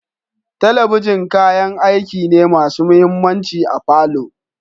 Talabishin kayan aiki ne masu mahimmanci a palour